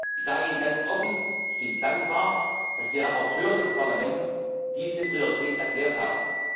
Ich sage Ihnen ganz offen Ich bin dankbar, dass die Berichterstatter des Parlaments diese Priorität erklärt haben.